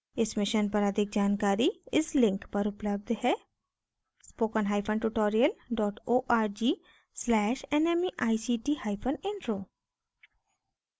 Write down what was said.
इस mission पर अधिक जानकारी इस लिंक पर उपलब्ध है: